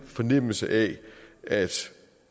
fornemmelse af at